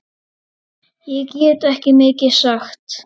Ég get ekki mikið sagt.